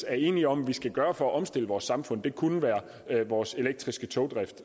er enige om at gøre for at omstille vores samfund og det kunne være vores elektriske togdrift